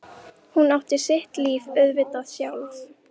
Hún á sitt líf auðvitað sjálf.